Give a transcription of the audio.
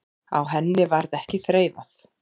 Á henni varð ekki þreifað.